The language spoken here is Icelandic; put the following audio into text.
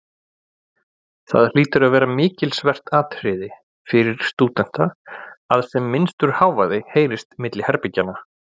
Það hlýtur að vera mikilsvert atriði fyrir stúdenta, að sem minnstur hávaði heyrist milli herbergjanna.